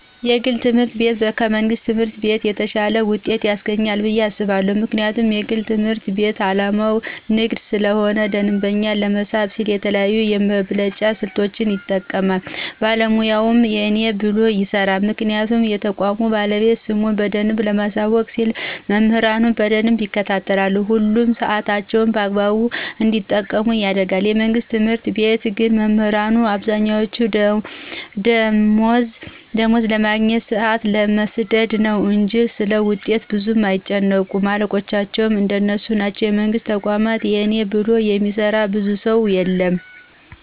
የግል ትምህርት ቤት ከመንግስት ትምህርት ቤት የተሻለ ውጤት ያስገኛል ብየ አስባለሁ። ምክንያቱም የግል ትምህርት ቤት አላማው ንግድ ስለሆነ ደንበኛ ለመሳብ ሲል የተለያዩ የመብለጫ ስልቶችን ይጠቀማል ባለሙያውም የእኔ ብሎ ይሰራል ምክንያቱም የተቋሙ ባለቤት ስሙን በደንብ ለማሳወቅ ሲል መምህራኑን በደንብ ይከታተላል፣ ሁሉንም ሳዕታቸውን በአግባቡ እንዲጠቀሙ ያደርጋል፤ የመንግስት ትምህርት ቤት ግን መምህራኑ አብዛኛወቹ ደማወዝ ለማግኘት፣ ሳአት ለመስደድ ነው እንጅ ስለውጤት ብዙም አይጨነቁም አለቆቻቸውም እንደነሱ ናቸው የመንግስትን ተቋማት የእኔ ብሎ የሚሰራ ብዙ ሰው የለም።